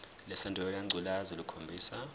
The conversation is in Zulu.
lesandulela ngculazi lukhombisa